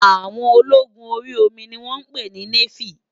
Áwòn ólógún óri ómi ni wòn pé ni néfí